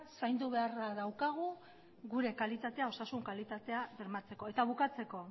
zaindu beharra daukagu gure kalitatea osasun kalitatea bermatzeko eta bukatzeko